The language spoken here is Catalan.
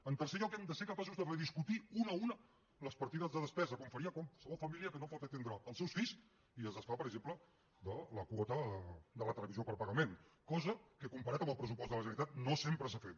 en tercer lloc hem de ser capaços de rediscutir una a una les partides de despesa com faria qualsevol família que no pot atendre els seus fills i es desfà per exemple de la quota de la televisió per pagament cosa que comparat amb el pressupost de la generalitat no sempre s’ha fet